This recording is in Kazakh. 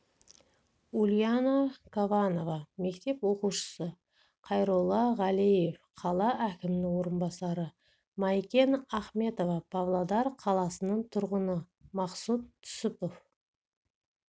ульяна кованова мектеп оқушысы қайролла ғалеев қала әкімінің орынбасары майкен ахметова павлодар қаласының тұрғыны мақсұт түсіпов